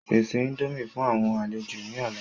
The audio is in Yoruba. Pèsè índòmí fún àwọn àlejò ni ọ̀la!